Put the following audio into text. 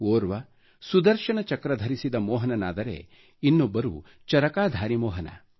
ಓರ್ವ ಸುದರ್ಶನ ಚಕ್ರ ಧರಿಸಿದ ಮೋಹನನಾದರೆ ಇನ್ನೊಬ್ಬರು ಚರಕಾಧಾರಿ ಮೋಹನ